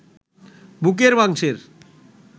বুকের মাংসের